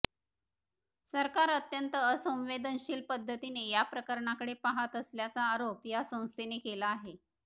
सरकार अत्यंत असंवेदनशील पद्धतीने या प्रकरणाकडे पाहात असल्याचा आरोप या संस्थेने केला आहे